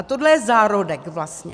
A tohle je zárodek vlastně.